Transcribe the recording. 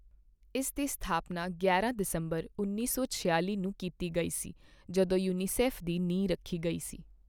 ਇਸ ਦੀ ਸਥਾਪਨਾ ਗਿਆਰਾਂ ਦਸੰਬਰ, ਉੱਨੀ ਸੌ ਛਿਆਲ਼ੀ ਨੂੰ ਕੀਤੀ ਗਈ ਸੀ ਜਦੋਂ ਯੂਨੀਸੈਫ ਦੀ ਨੀਂਹ ਰੱਖੀ ਗਈ ਸੀ।